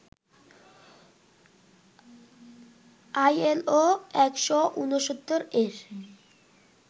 ILO ১৬৯ এর